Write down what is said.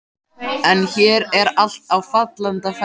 En hér er allt á fallanda fæti.